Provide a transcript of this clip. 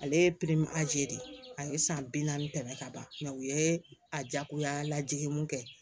Ale de a ye san bi naani tɛmɛ ka ban u ye a jagoya lajigin mun kɛ